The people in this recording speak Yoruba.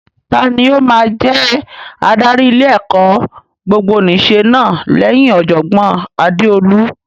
Tani ó máa jẹ adarí ilé-ẹ̀kọ́ gbogbonìṣe náà lẹ́yìn Ọ̀jọ̀gbọ́n Adeolu?